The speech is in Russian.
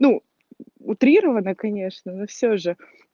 ну утрированно конечно но всё же